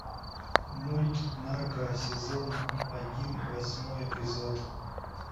мульт нарко сезон один восьмой эпизод